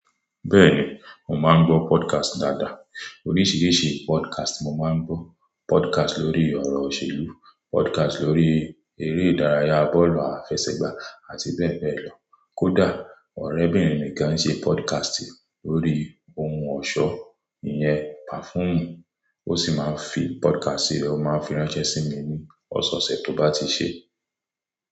Bẹ́ẹ̀ni, mo máa ń gbọ́ podcast dáadáa. Oríṣiríṣi podcast mo máa ń gbọ́. Podcast lórí ọ̀rọ̀ òṣèlú, podcast lórí eré ìdárayá bọ́ọ̀lù àfẹsẹ̀gbá àti bẹ́ẹ̀ bẹ́ẹ̀ lọ. Kódà ọ̀rẹ́bìnrin mi kan ń ṣe podcast lórí ohun ọ̀ṣọ́ ìyẹn perfume ó sì máa ń fi podcast rẹ̀ máa fi ránṣẹ́ sí mi ní ọ̀sẹ̀ ọ̀sẹ̀ tó bá ti ṣé.